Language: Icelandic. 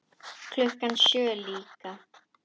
Klukkan sjö líka.